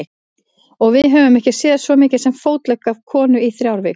Og við höfum ekki séð svo mikið sem fótlegg af konu í þrjár vikur.